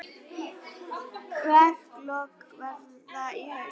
Verklok verða í haust.